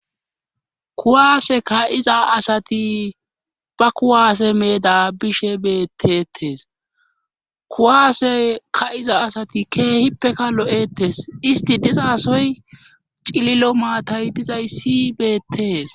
kuwaase ka'iza asati ba kuwaase meeda bishe betetes kuwaase ka'iza asati keehippeka lo'ettes isti dizasoy cililo maatay dizayssi beettees